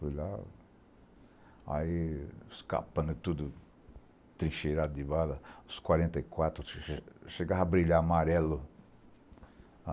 Fui lá, aí os capanga tudo tri cheirados de bala, os quarenta e quatro chegava a brilhar amarelo.